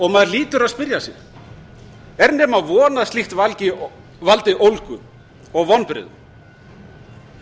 og maður hlýtur að spyrja sig er nema von að slíkt valdi ólgu og vonbrigðum